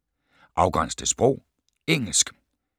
Afgræns til sprog: engelsk